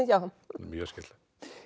mjög skemmtilegt